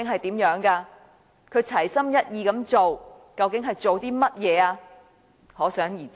他說齊心一意去做，究竟是做些甚麼？